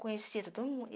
Conhecido do mundo.